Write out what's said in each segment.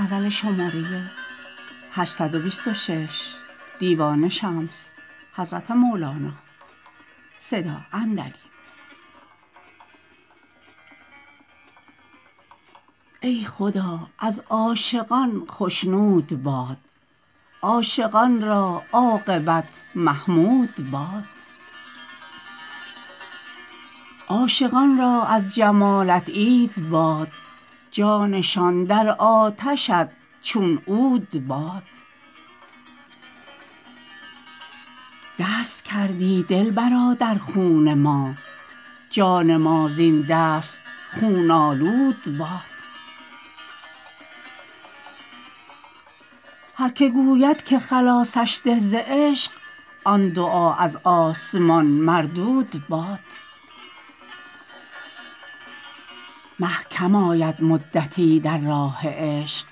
ای خدا از عاشقان خشنود باد عاشقان را عاقبت محمود باد عاشقان را از جمالت عید باد جانشان در آتشت چون عود باد دست کردی دلبرا در خون ما جان ما زین دست خون آلود باد هر که گوید که خلاصش ده ز عشق آن دعا از آسمان مردود باد مه کم آید مدتی در راه عشق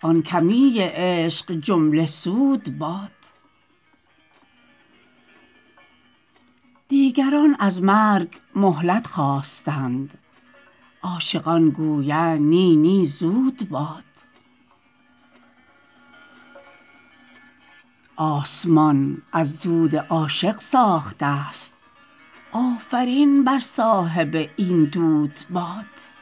آن کمی عشق جمله سود باد دیگران از مرگ مهلت خواستند عاشقان گویند نی نی زود باد آسمان از دود عاشق ساخته ست آفرین بر صاحب این دود باد